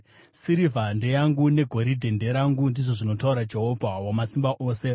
‘Sirivha ndeyangu negoridhe nderangu,’ ndizvo zvinotaura Jehovha Wamasimba Ose.